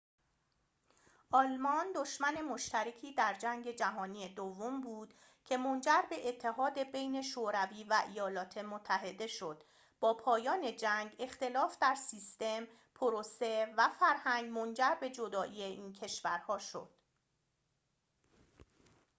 آلمان دشمن مشترکی در جنگ جهانی دوم بود که منجر به اتحاد بین شوروی و ایالات متحده شد با پایان جنگ اختلاف در سیستم پروسه و فرهنگ منجر به جدایی این کشورها شد